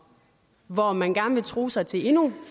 hvor man gerne vil true sig til endnu